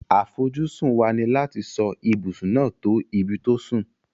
Àfojúsùn wa ni láti so ibùsùn náà to ibi to sùn